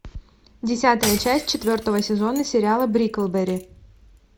десятая часть четвертого сезона сериала бриклберри